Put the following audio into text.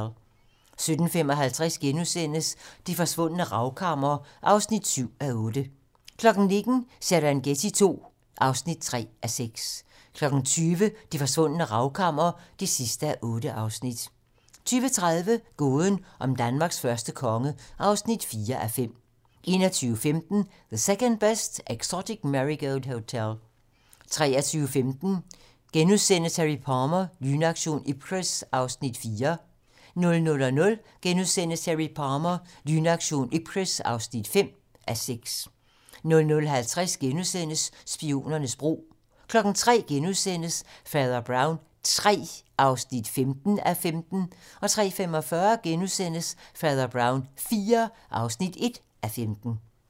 17:55: Det Forsvundne Ravkammer (7:8)* 19:00: Serengeti II (3:6) 20:00: Det Forsvundne Ravkammer (8:8) 20:30: Gåden om Danmarks første konge (4:5) 21:15: The Second Best Exotic Marigold Hotel 23:15: Harry Palmer - Lynaktion Ipcress (4:6)* 00:00: Harry Palmer - Lynaktion Ipcress (5:6)* 00:50: Spionernes bro * 03:00: Fader Brown III (15:15)* 03:45: Fader Brown IV (1:15)*